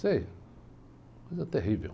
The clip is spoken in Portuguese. Isso aí, coisa terrível.